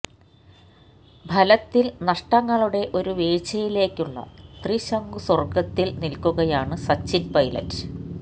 ഫലത്തിൽ നഷ്ടങ്ങളുടെ ഒരു വീഴ്ചയിലേക്കുള്ള ത്രിശങ്കുസ്വർഗ്ഗത്തിൽ നിൽക്കുകയാണ് സച്ചിൻ പൈലറ്റ്